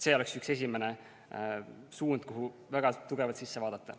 See oleks üks esimesi suundi, kuhu väga tugevalt sisse vaadata.